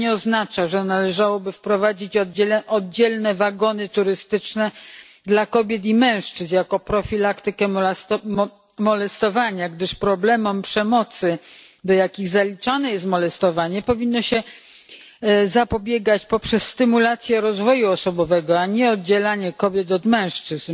Nie oznacza to, że należałoby wprowadzić oddzielne wagony turystyczne dla kobiet i mężczyzn jako profilaktykę molestowania, gdyż problemom przemocy, do jakich zaliczane jest molestowanie, powinno się zapobiegać poprzez stymulację rozwoju osobowego, a nie oddzielanie kobiet od mężczyzn.